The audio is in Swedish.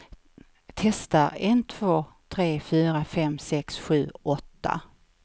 Testar en två tre fyra fem sex sju åtta.